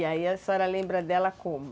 E aí a senhora lembra dela como?